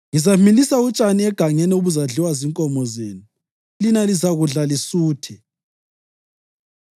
Ngizamilisa utshani egangeni obuzadliwa zinkomo zenu, lina lizakudla lisuthe.